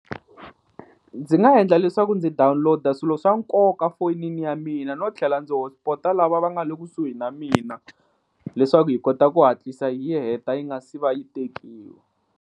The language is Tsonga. Ndzi nga endla leswaku ndzi download-a swilo swa nkoka fonini ya mina no tlhela ndzi hotspot-a lava va nga le kusuhi na mina leswaku hi kota ku hatlisa hi yi heta yi nga si va yi tekiwi.